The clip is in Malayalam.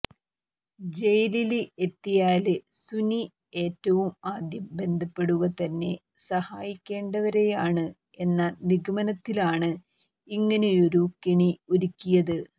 ജയിലില് എത്തിയാല് സുനി ഏറ്റവും ആദ്യം ബന്ധപ്പെടുക തന്നെ സഹായിക്കേണ്ടവരെയാണ് എന്ന നിഗമനത്തിലാണ് ഇങ്ങനെയൊരു കെണി ഒരുക്കിയത്